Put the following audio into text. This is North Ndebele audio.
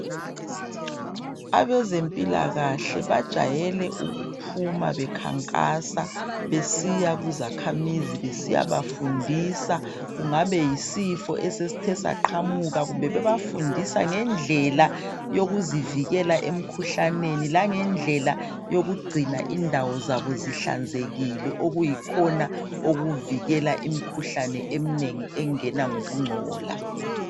abezempilakahle bajayele ukuphuma bekhankasa besiya kuzakhamizi besiyabafundisa kungabe yisifo esesithe saqhamuka kumbe bebafundisa ngendlela yokuzivikela emkhuhlaneni langendlela yokugcina indawo zabo zihlanzekile okuyikhona okuvikela imikhuhlane eminengi engena ngokuncola